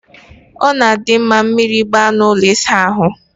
Ọ na-adị mma mmiri ịgba na ụlọ ịsa ahụ.